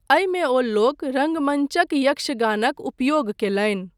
एहिमे ओ लोक रङ्गमञ्च यक्षगानक उपयोग कयलनि।